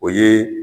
O ye